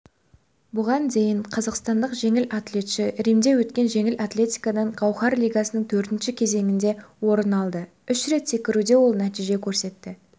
бұған дейін қазақстандық жеңіл атлетші римде өткен жеңіл атлетикадан гауһар лигасының төртінші кезеңінде орын алды үш рет секіруде ол нәтиже көрсетті